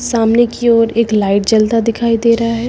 सामने की ओर एक लाइट जलता दिखाई दे रहा है।